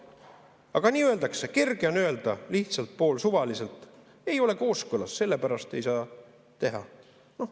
Aga nii öeldakse, kerge on öelda lihtsalt, poolsuvaliselt: ei ole kooskõlas, sellepärast ei saa teha.